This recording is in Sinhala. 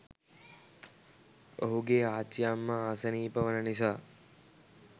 ඔහුගේ ආච්චිඅම්මා අසනීප වන නිසා